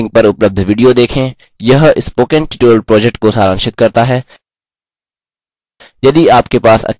निम्न link पर उपलब्ध video देखें यह spoken tutorial project को सारांशित करता है